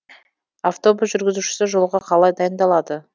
автобус жүргізушісі жолға қалай дайындалады